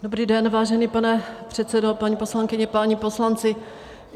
Dobrý den, vážený pane předsedo, paní poslankyně, páni poslanci.